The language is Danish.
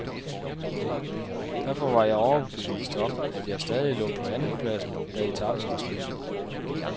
Derfor var jeg overbevist om, at jeg stadig lå på andenpladsen, da etapen var slut.